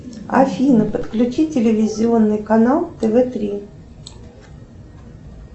афина подключи телевизионный канал тв три